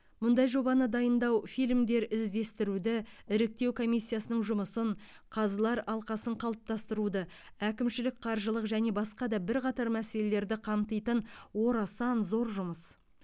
мұндай жобаны дайындау фильмдер іздестіруді іріктеу комиссиясының жұмысын қазылар алқасын қалыптастыруды әкімшілік қаржылық және басқа да бірқатар мәселелерді қамтитын орасан зор жұмыс